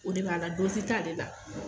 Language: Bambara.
O de b'a la dozi t'ale la